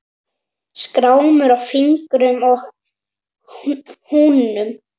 Skrámur á fingrum og hnúum.